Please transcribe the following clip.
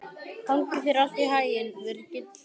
Gangi þér allt í haginn, Virgill.